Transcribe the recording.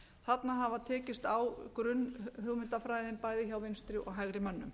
þarna hefur tekist á grunnhugmyndafræðin bæði hjá vinstri og hægri mönnum